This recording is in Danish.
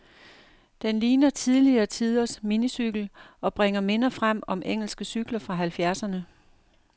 Den ligner tidligere tiders minicykel, og bringer minder frem om engelske cykler fra halvfjerdserne.